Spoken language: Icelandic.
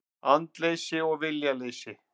Andleysi og viljaleysi.